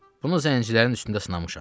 Bunu zəncilərin üstündə sınamışam.